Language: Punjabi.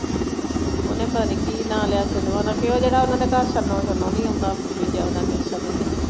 ਓਹਨੇ ਪਤਾ ਨਹੀਂ ਕੀ ਨਾ ਲਿਆ ਉਹ ਜਿਹੜਾ ਓਹਨਾ ਦੇ ਘਰ ਛੰਨੋ ਛੰਨੋ ਨਹੀਂ ਆਉਂਦਾ ਸਨੀ ਕੇ।